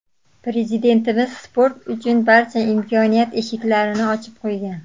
Prezidentimiz sport uchun barcha imkoniyat eshiklarini ochib qo‘ygan.